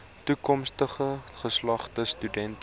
toekomstige geslagte studente